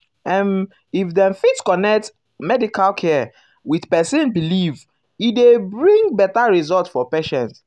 ehm if dem fit connect um ah medical care with person belief e dey dey bring better result for patient. um